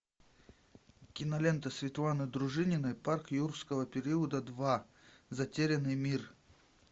кинолента светланы дружининой парк юрского периода два затерянный мир